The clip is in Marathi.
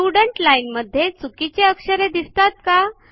स्टुडेंट लाईन मध्ये चुकीचे अक्षरे दिसतात का